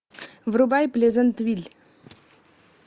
врубай плезантвиль